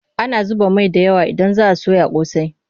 Ana zuba mai da yawa idan za a soya ƙosai.